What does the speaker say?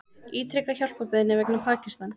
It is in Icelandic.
Ítreka hjálparbeiðni vegna Pakistan